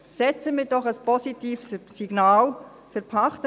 Senden wir doch ein positives Signal aus!